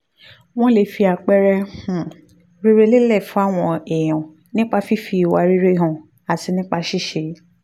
wọ́n lè fi àpẹẹrẹ um rere lélẹ̀ fáwọn èèyàn nípa fífi ìwà rere hàn àti nípa ṣíṣe